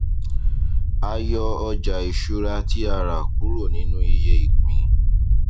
a yọ ọjà ìṣúra tí a rà kúrò nínú iye ìpín